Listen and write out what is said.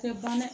Tɛ ban dɛ